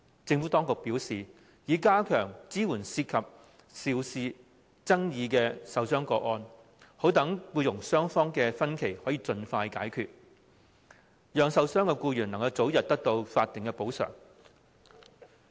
政府當局表示，政府已加強對涉及爭議受傷個案的支援，以盡快消除僱傭雙方之間的分歧，讓受傷的僱員能早日獲得法定的補償。